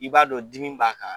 I b'a dɔn dimi b'a ka